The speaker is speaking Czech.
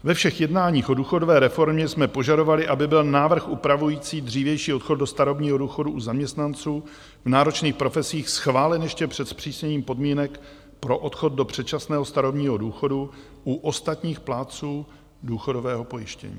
Ve všech jednáních o důchodové reformě jsme požadovali, aby byl návrh upravující dřívější odchod do starobního důchodu u zaměstnanců v náročných profesích schválen ještě před zpřísněním podmínek pro odchod do předčasného starobního důchodu u ostatních plátců důchodového pojištění.